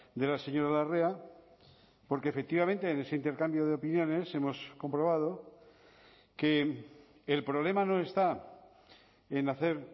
de la señora larrea porque efectivamente en ese intercambio de opiniones hemos comprobado que el problema no está en hacer